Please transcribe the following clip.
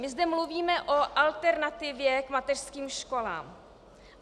My zde mluvíme o alternativě k mateřským školám.